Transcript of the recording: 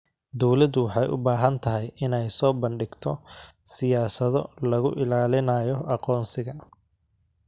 Dawladdu waxay u baahan tahay inay soo bandhigto siyaasado lagu ilaalinayo aqoonsiga.